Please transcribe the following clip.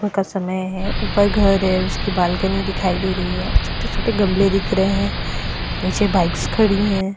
का समय है ऊपर घर है उसकी बालकनी दिखाई दे रही है छोटे-छोटे गमले दिख रहे हैं नीचे बाइक्स खड़ी हैं।